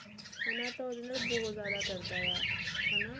ਹਨਾ ਤਾਂ ਉਹਦੇ ਨਾਲ ਬਹੁਤ ਜਿਆਦਾ ਕਰਦਾ ਆ ਹਨਾ